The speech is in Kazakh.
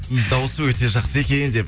даусы өте жақсы екен деп